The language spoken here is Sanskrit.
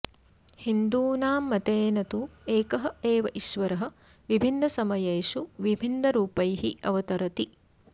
हिन्दूनां मतेन तु एकः एव ईश्वरः विभिन्नसमयेषु विभिन्नरुपैः अवतरति